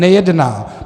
Nejedná.